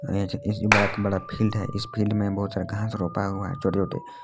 ये जो ऐसी बड़ा का बड़ा फील्ड है इस फील्ड में बहुत सारा घास रोपा हुआ है छोटे छोटे--